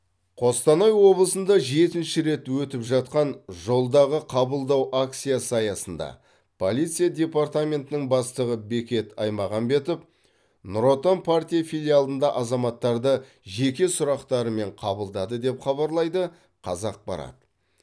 қостанай облысында жетінші рет өтіп жатқан жолдағы қабылдау акциясы аясында полиция департаментінің бастығы бекет аймағамбетов нұр отан партия филиалында азаматтарды жеке сұрақтарымен қабылдады деп хабарлайды қазақпарат